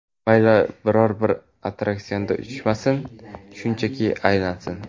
Mayli biror bir attraksionda uchmasin, shunchaki aylansin.